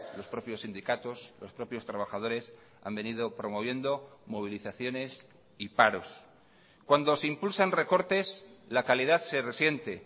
los propios sindicatos los propios trabajadores han venido promoviendo movilizaciones y paros cuando se impulsan recortes la calidad se resiente